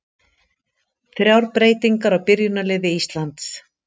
Þrjár breytingar á byrjunarliði Íslands